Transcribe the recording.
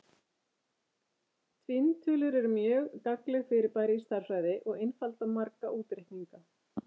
Tvinntölur eru mjög gagnlegt fyrirbæri í stærðfræði og einfalda marga útreikninga.